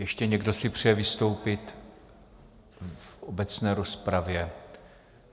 Ještě někdo si přeje vystoupit v obecné rozpravě?